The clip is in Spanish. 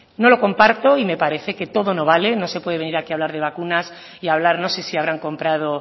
no lo comparto y me parece que todo no vale no se puede venir aquí a hablar de vacunas y hablar no sé si habrán comprado